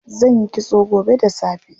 Zanyi kitso gobe da safe.